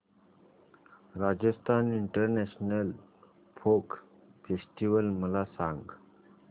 Rajasthan international folk festival मला सांग